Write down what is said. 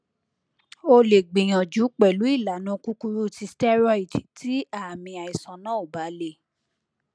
o le gbiyanju pẹ̀lú ilana kukuru ti steroid ti aami aisan na o ba le